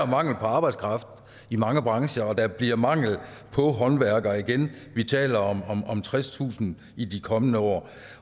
mangel på arbejdskraft i mange brancher og der bliver mangel på håndværkere igen vi taler om tredstusind i de kommende år